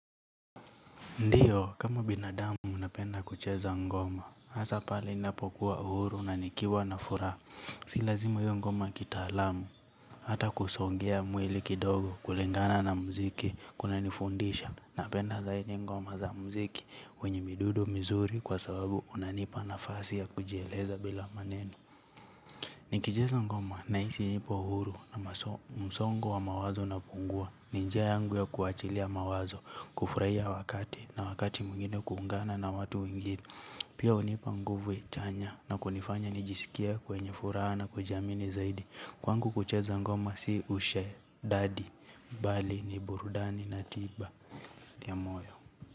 Ndiyo, kama binadamu unapenda kucheza ngoma, hasa pale ninapokuwa uhuru na nikiwa na furaha. Si lazima iwe ngoma ya kitaalamu, hata kusongea mwili kidogo kulingana na mziki, kunanifundisha, napenda zaidi ngoma za mziki, wenye midundo mizuri kwa sababu unanipa nafasi ya kujieleza bila maneno. Nikicheza ngoma nahisi nipo huru na msongo wa mawazo unapungua. Ni njia yangu ya kuachilia mawazo, kufurahia wakati na wakati mwingine kuungana na watu wengine. Pia hunipa nguvu chanya na kunifanya nijisikie kwenye furaha na kujiamini zaidi. Kwangu kucheza ngoma si ushedadi, bali, ni burudani, na tiba, ya moyo.